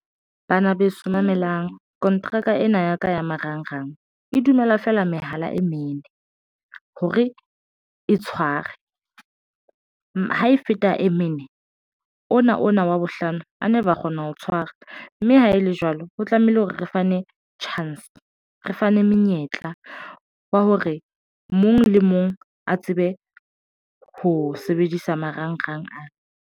Bana beso mamelang kontraka ena ya ka ya marangrang e dumela feela mehala e mene hore e tshware ha e feta e mene ona ona wa bohlano a never wa kgona ho tshwara mme ha e le jwalo ho tlamehile hore re fane chance re fane monyetla wa hore mong le mong a tsebe ho sebedisa marangrang ana.